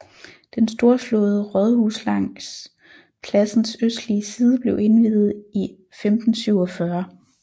Den storslåede rådhus langs pladsens østlige side blev indviet i 1547